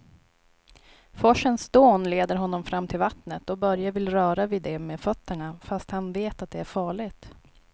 Forsens dån leder honom fram till vattnet och Börje vill röra vid det med fötterna, fast han vet att det är farligt.